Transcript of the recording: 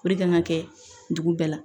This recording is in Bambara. kan ka kɛ dugu bɛɛ la